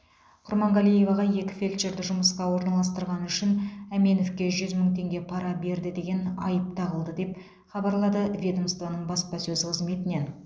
құрманғалиеваға екі фельдшерді жұмысқа орналастырғаны үшін әменовке жүз мың теңге пара берді деген айып тағылды деп хабарлады ведомствоның баспасөз қызметінен